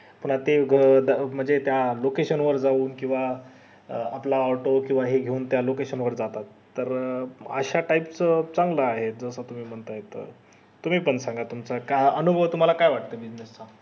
पुन्हा ते म्हणजे त्या location वर जाऊन किव्हा आपला auto किव्हा हे घेऊन त्या location वर जातात तर अश्या type च चांगलं आहे तसं तुम्ही म्हणत्यात त तुम्ही पण सांगा तुमचा काय अनुभव तुम्हला काय वाट